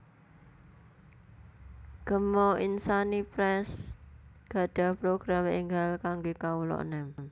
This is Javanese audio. Gema Insani Press gadhah program enggal kangge kawula enem